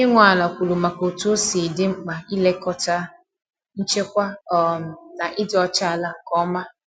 Onye nwe ala kwuru maka otú osi di mkpa ị lekọta nchekwa um na ịdị ọcha ala nke ọma.